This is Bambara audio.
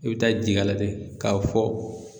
E be taa jigi a la dɛ k'a fɔ